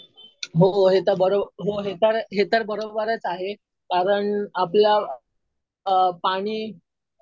हो हे तर, हो हे तर बरोबरच आहे. कारण आपलं पाणी,